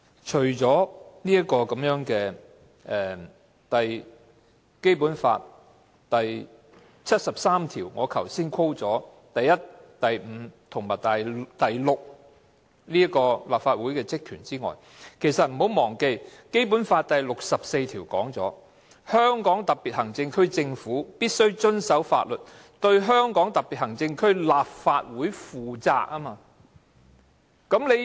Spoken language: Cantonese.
除了我剛才所引述《基本法》第七十三條第一、五及六項訂明的立法會職權外，大家不要忘記，《基本法》第六十四條亦訂明"香港特別行政區政府必須遵守法律，對香港特別行政區立法會負責"。